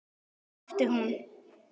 æpti hún.